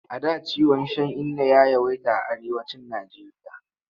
A da ciwon shan inna ya yawaita a Arewacin Nijeriya.